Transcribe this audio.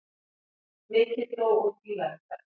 Mikið dró úr bílaumferð